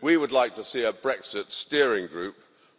We would like to see a Brexit steering group